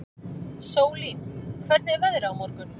Sólín, hvernig er veðrið á morgun?